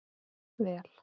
Vel